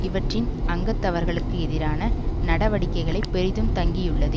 இவற்றின் அங்கத்தவர்களுக்குஎதிரான நடிவடிக்கைகளை பெரிதும் தங்கியுள்ளது